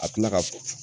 A tila ka